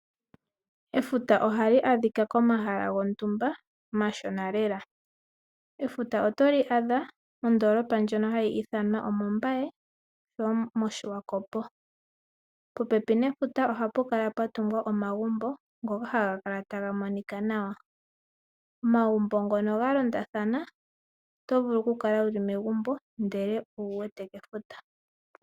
Efuta ohali adhika komahala gontumba omashona lela. Efuta otoli adha mondoolopa ndjono hayi ithanwa omombaye ile moshiwakopo , popepi nefuta ohapu kala pwatungwa omagumbo ngoka haga kala tagamonika nawa. Omagumbo ngono galondathana otovulu okukala wuli megumbo ndele owuwete pefuta.